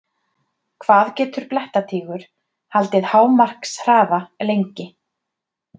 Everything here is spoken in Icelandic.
Hvað getur blettatígur haldið hámarkshraða lengi?